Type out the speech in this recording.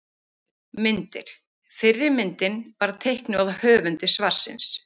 Myndir: Fyrri myndin var teiknuð af höfundi svarsins.